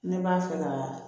Ne b'a fɛ ka